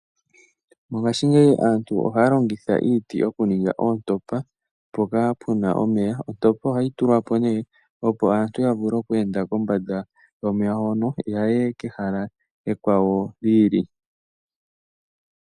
Mongashingeyi aantu ohaya longitha iiti yokuninga oontompa mpoka puna omeya, ontompa ohayi tulwa po nee opo aantu ya vule oku enda kombanda yomeya ngoka yaye kehala limwe lyi ili.